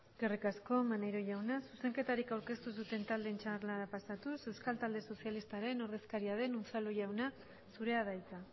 eskerrik asko maneiro jauna zuzenketarik aurkeztu ez duten taldeen txandara pasatuz euskal talde sozialistaren ordezkaria den unzalu jauna zurea da hitza